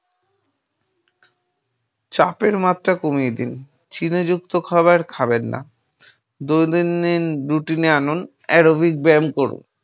চাপের মাত্রা কমিয়ে দিন। চিনি যুক্ত খাবার খাবেন না। দু তিন দিন routine নে আনুন। aerobic ব্যায়াম করুন।